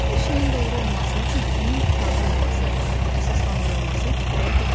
Bir şeyin doğru olması üçün onun tutarlı olması, əsaslandırılması kifayət etmir.